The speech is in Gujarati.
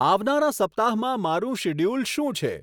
આવનારા સપ્તાહમાં મારું શિડ્યુલ શું છે